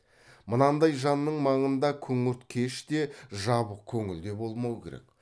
мынандай жанның маңында күңірт кеш те жабық көңіл де болмау керек